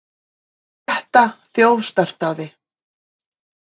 Flétta þjófstartaði